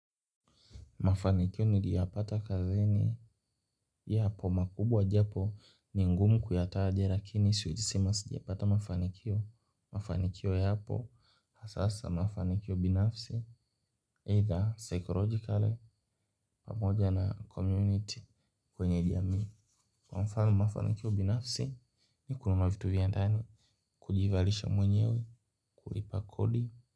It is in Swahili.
Mafanikio niliyopata kazini yapo makubwa japo ni ngumu kuyataja lakini siwezi sema sijapata mafanikio. Mafanikio yapo. Hasa hasa mafanikio binafsi, 'either psychologically', pamoja na 'community' kwenye jamii. Kwa mfano, mafanikio binafsi ni kununua vitu vya ndani, kujivalisha mwenyewe, kulipa kodi.